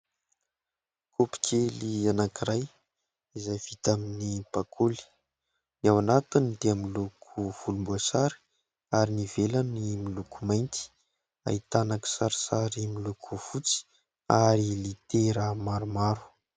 Kaopy kely anankiray izay vita amin'ny bakoly. Ny ao anatiny dia miloko volomboasary ary ny ivelany miloko mainty, ahitana kisarisary miloko fotsy ary litera maromaro.